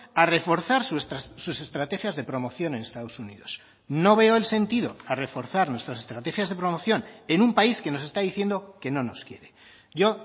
a reforzar sus estrategias de promoción en estados unidos no veo el sentido a reforzar nuestras estrategias de promoción en un país que nos está diciendo que no nos quiere yo